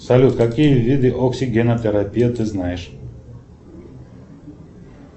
салют какие виды оксигенотерапии ты знаешь